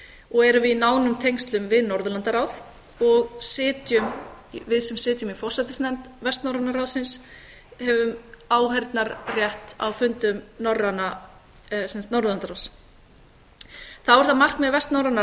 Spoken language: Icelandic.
og erum við í nánum tengslum við norðurlandaráð og við sem sitjum í forsætisnefnd vestnorræna ráðsins höfum áheyrnarrétt á fundum norðurlandaráðs þá er það markmið vestnorræna